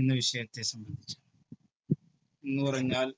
എന്ന വിഷയത്തെ സംബന്ധിച്ചാണ് എന്നു പറഞ്ഞാൽ